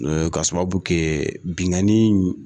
K'a sababu kɛ binnkanni